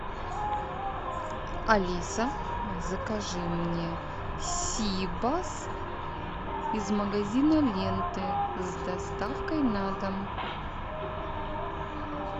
алиса закажи мне сибас из магазина ленты с доставкой на дом